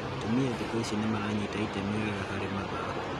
Atumia thikũ ici nĩ maranyita itemi wega harĩ mathako